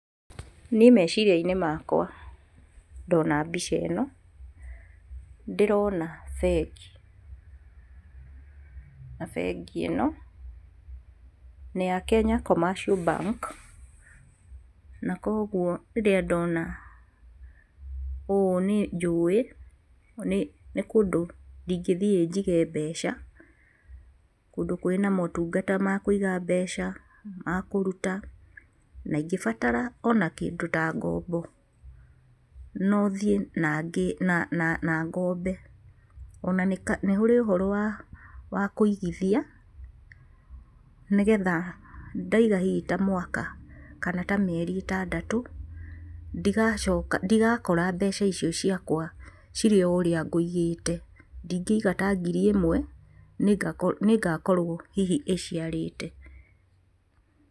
Niĩ meciria-inĩ makwa ndona mbica ĩno ndĩrona bengi, na bengi ĩno nĩ ya Kenya Commercial Bank. Na kuoguo rĩrĩa ndona ũũ nĩnjũĩ nĩ kũndũ ingĩthiĩ njige mbeca, kũndũ kwĩna motungata ma kũiga mbeca, ma kũruta, na ingĩbatara ona kĩndũ ta ngombo, no thiĩ na ngĩ na na ngombe. Na nĩũrĩ ũhoro wa wa kũigithia nĩgetha ndaiga hihi ta mwaka kana ta mĩeri ĩtandatũ, ndigacoka ndigakora mbeca icio ciakwa cirĩ o ũrĩa ngũigĩte, ndingĩiga ta ngiri ĩmwe nĩngakorwo hihi ĩciarĩte.